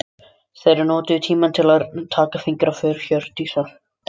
Þeir notuðu tímann til að taka fingraför Hjördísar.